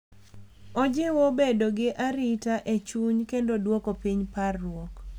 Ojiwo bedo gi arita e chuny kendo duoko piny parruok.